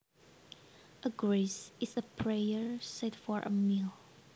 A grace is a prayer said for a meal